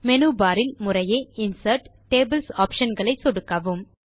menu bar இல் முறையே insert tables option களை சொடுக்கவும்